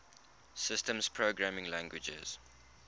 systems programming languages